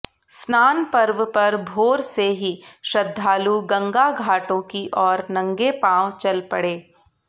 स्नान पर्व पर भोर से ही श्रद्धालु गंगाघाटों की ओर नंगे पाव चल पड़े